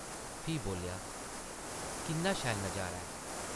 फ्ही बोल्लेआ, ‘‘किन्ना शैल नज़ारा ऐ !’’